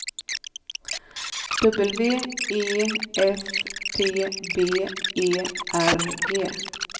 W E S T B E R G